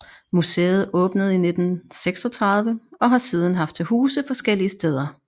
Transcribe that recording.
Museet åbnede i 1936 og har siden haft til huse forskellige steder